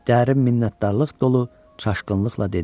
Dərin minnətdarlıq dolu çaşqınlıqla dedi: